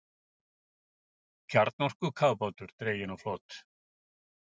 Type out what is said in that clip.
Kjarnorkukafbátur dreginn á flot